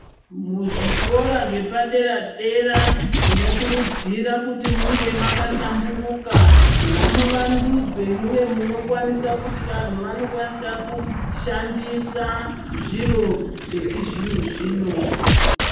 Muzvikora zvepadera-dera, tinokurudzira kuti munge makahlamburuka. Ngamuvandudzwe muve munokwanisa kuti vantu vanokwanisa kushandisa zviro zvechizvino-zvino.